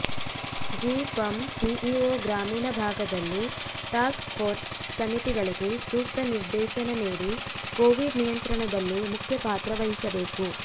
G ಪಂ CEO ಗ್ರಾಮೀಣ ಭಾಗದಲ್ಲಿ ಟಾಸ್ಕ್ಫೋರ್ಸ್ ಸಮಿತಿಗಳಿಗೆ ಸೂಕ್ತ ನಿರ್ದೇಶನ ನೀಡಿ ಕೋವಿಡ್ ನಿಯಂತ್ರಣದಲ್ಲಿ ಮುಖ್ಯ ಪಾತ್ರ ವಹಿಸಬೇಕು